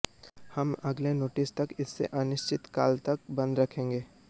हम अगले नोटिस तक इसे अनिश्चितकाल तक बंद रखेंगे